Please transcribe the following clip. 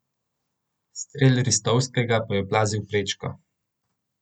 Strel Ristovskega pa je oplazil prečko.